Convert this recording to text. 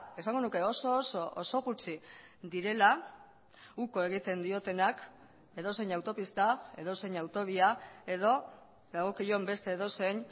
esango nuke oso oso oso gutxi direla uko egiten diotenak edozein autopista edozein autobia edo dagokion beste edozein